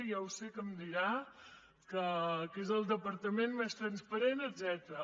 ja ho sé que em dirà que és el departament més transparent etcètera